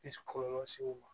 kɔlɔlɔ se u ma